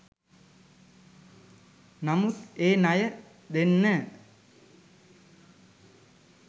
නමුත් ඒ ණය දෙන්න